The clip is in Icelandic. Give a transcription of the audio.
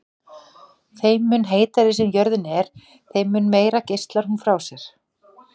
Þeim mun heitari sem jörðin er þeim mun meira geislar hún frá sér.